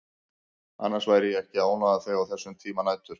Annars væri ég ekki að ónáða þig á þessum tíma nætur.